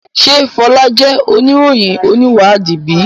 Ṣe Fola jẹ oniroyin oniwadi bi?